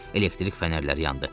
Elektrik fənərlər yandı.